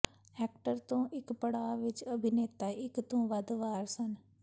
actor ਤੋਂ ਇਕ ਪੜਾਅ ਵਿਚ ਅਭਿਨੇਤਾ ਇਕ ਤੋਂ ਵੱਧ ਵਾਰ ਸਨ